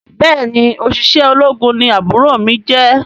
Béèni oṣiṣẹ ológun ní àbúrò mí jẹ.